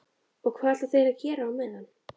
Og hvað ætla þeir að gera á meðan?